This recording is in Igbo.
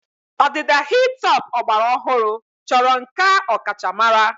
Ọdịda hi-top ọgbara ọhụrụ chọrọ nkà ọkachamara.